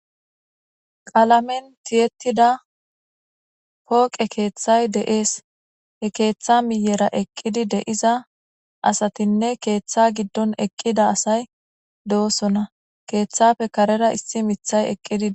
Qalamen tiyetida pooqe kethay de'es, he keetha miyera eqid de'iza asatinne he ketha gidon eqida asayi dosona,kethappe karera issi mithay eqid Des.